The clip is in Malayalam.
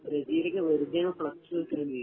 ബ്രസീലൊക്കെ വെറുതെയാണ് ഫ്ലക്സ് വെക്കുന്നേ